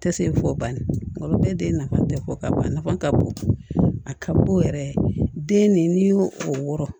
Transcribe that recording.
Tɛ se fo banni olu bɛɛ nafa tɛ fɔ ka ban nafa ka bon a ka bon yɛrɛ den ni y'o o wɔɔrɔ